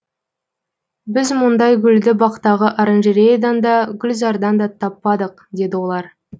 біз мұндай гүлді бақтағы оранжереядан да гүлзардан да таппадық деді олар